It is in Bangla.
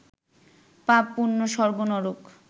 পাপ-পুণ্য, স্বর্গ-নরক